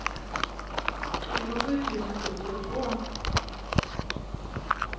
tjugosju tusen sjuttiotvå